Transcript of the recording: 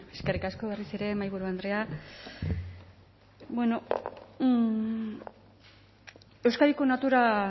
eskerrik asko berriz ere mahaiburu andrea euskadiko natura